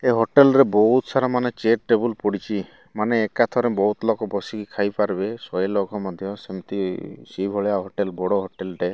ଏ hotel ରେ ବହୁତ୍ ସାରା ମାନେ ଚେୟାର ଟେବୁଲ ପଡ଼ିଚି ମାନେ ଏକାଥରେ ବୋହୁତ୍ ଲୋକ ବସିକି ଖାଇପାରିବେ ଶହେ ଲୋକ ମଧ୍ୟ ସେମତି ସେଇ ଭଳିଆ ହୋଟେଲ ବଡ଼ ହୋଟେଲ ଟେ।